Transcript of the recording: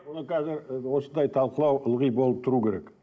оны қазір ы осындай талқылау ылғи болып тұру керек